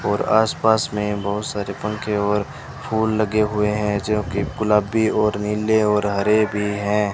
और आसपास में बहोत सारे पंखे और फूल लगे हुए हैं जो की गुलाबी और नीले और हरे भी हैं।